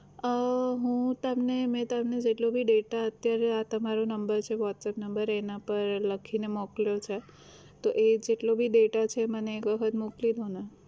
અમ હું તમને મેં તમને જેટલો ભી data અત્યારે આ તમારો નંબર છે whatsapp number છે એના પર લખીને મોકલ્યો છે તો એ જેટલો ભી data છે મને એક વખત મોકલી દો ને